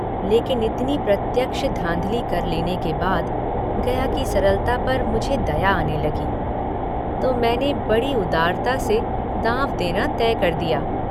लेकिन इतनी प्रत्यक्ष धाँधली कर लेने के बाद गया की सरलता पर मुझे दया आने लगी इसलिए तो मैंने बड़ी उदारता से दाँव देना तय कर दिया।